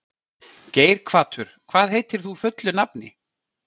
Geirhvatur, hvað heitir þú fullu nafni?